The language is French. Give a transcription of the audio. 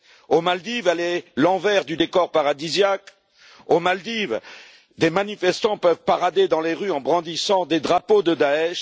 Aux Maldives, elle est l'envers du décor paradisiaque. Aux Maldives, des manifestants peuvent parader dans les rues en brandissant des drapeaux de Daech.